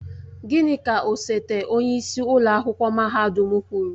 Gịnị ka osote onyeisi ụlọ akwụkwọ mahadum kwuru?